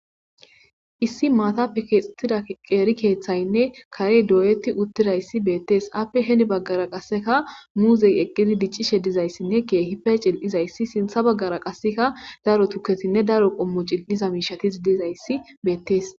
issi maatap kutida qeeri keeththaynne karey dooyeti uttirayssi beettees appe heni baggara qasseka muuzey eqqili diccishe dizayssinne keehipe cil7izayssi sintha baggara qasseka daro tukesinne daro qommo cil7iza miishatis dizayssi beettees